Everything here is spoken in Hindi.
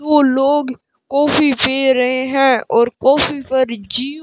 दो लोग कॉफी पी रहे हैं और कॉफी पर जीव --